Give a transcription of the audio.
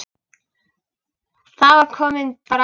Það var komin bræla.